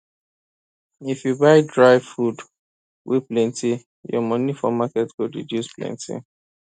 if you buy dry food wey plenty your money for market go reduce plenty